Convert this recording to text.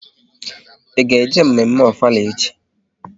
Ị ga-eje mme mme Ofala echi?